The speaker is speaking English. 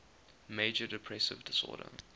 major depressive disorder